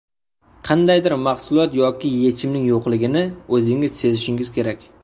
Qandaydir mahsulot yoki yechimning yo‘qligini o‘zingiz sezishingiz kerak.